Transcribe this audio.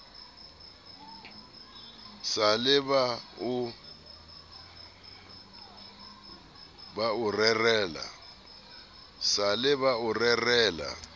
sa le ba o rerela